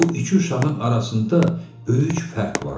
Bu iki uşağın arasında böyük fərq vardı.